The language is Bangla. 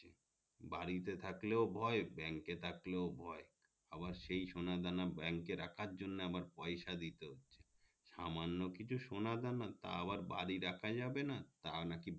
বাড়িতে থাকলেও ভয় ব্যাংক এ থাকলেও ভয় আবার সেই সোনা দানা ব্যাংক রাখার জন্য আবার পয়সা দিতে হচ্ছে সামান্য কিছু সোনা দানা তা আবার বাড়িতে রাখা যাবে না তাও নাকি